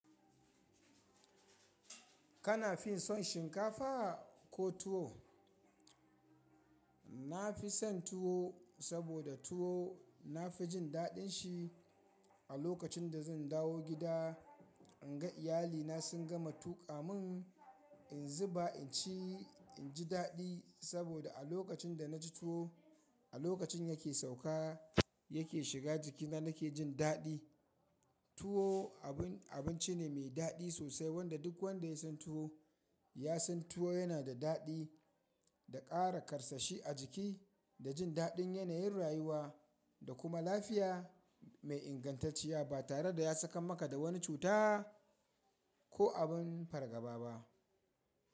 Kana fin son shinkafa ko tuwo? Na fi son tuwo saboda tuwo na fi jin daɗin shi. A lokacin da zan dawo gida in ga iyali na sun gama tuƙa mun in zuba in ci, in ji daɗi saboda a lokacin da na ci tuwo a lokacin ya ke sauƙa ya ke shiga jikina nake jin daɗi. Tuwo abun abinci ne mai daɗi sosai wanda duk wanda ya san tuwo ya san tuwo yana da daɗi da ƙara karsashi a jiki, da jin daɗin yanayin rayuwa da kuma lafiya mai ingantacciya ba tare da ya saka maka da wani cuta ko abin fargaba ba.